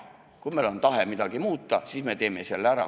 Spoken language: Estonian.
Kui meil on tahe midagi muuta, siis me teeme selle ära.